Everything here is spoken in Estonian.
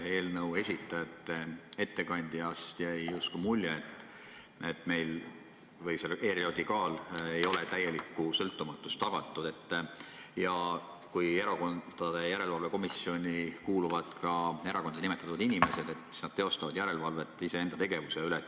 Eelnõu algatajate esindaja ettekandest jäi mulje, et selle ERJK puhul ei ole täielikku sõltumatust tagatud ja kui Erakondade Rahastamise Järelevalve Komisjoni kuuluvad ka erakondade nimetatud inimesed, siis nad teostavad järelevalvet iseenda tegevuse üle.